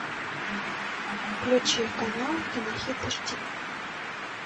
включи канал кинохит эйчди